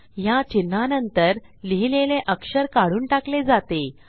ह्या चिन्हानंतर लिहिलेले अक्षर काढून टाकले जाते